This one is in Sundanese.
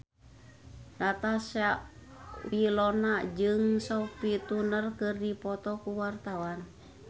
Natasha Wilona jeung Sophie Turner keur dipoto ku wartawan